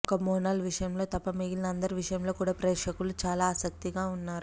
ఒక్క మోనాల్ విషయంలో తప్ప మిగిలిన అందరి విషయంలో కూడా ప్రేక్షకులు చాలా ఆసక్తిగా ఉన్నారు